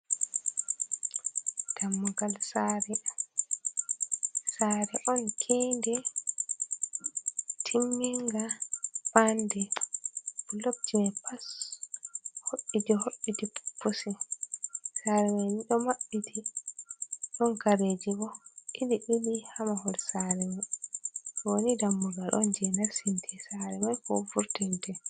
Dammugal saare saare on kiinde timminga ɓande bulokji mai pas hobbiti hobbiti pusi saare man ɗo maɓɓiti ɗon kareji ɓo ɓili ɓili ha mahol saare man ɗoni dammugal on je narstinte saare man ko vurti nde.